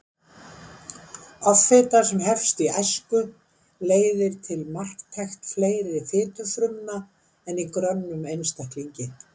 Offita sem hefst í æsku leiðir til marktækt fleiri fitufrumna en í grönnum einstaklingi.